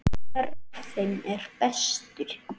Hver af þeim er bestur?